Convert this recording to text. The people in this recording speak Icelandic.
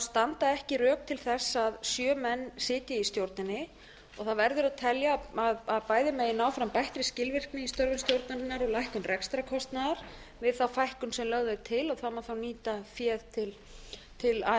standa ekki rök til þess að sjö menn sitji í stjórninni það verður að telja að bæði megi ná fram bættri skilvirkni í störfum stjórnarinnar og lækkun rekstrarkostnaður við þá fækkun sem lögð er til það má þá nýta féð til